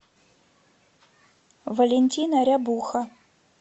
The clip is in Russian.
валентина рябуха